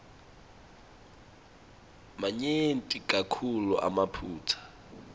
manyenti kakhulu emaphutsa